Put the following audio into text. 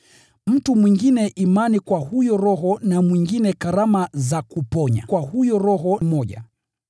Mtu mwingine imani kwa huyo Roho na mwingine karama za kuponya kwa huyo Roho mmoja.